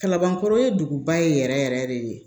Kalabankɔrɔ ye duguba ye yɛrɛ yɛrɛ de